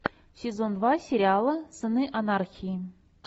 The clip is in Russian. сезон два сериала сыны анархии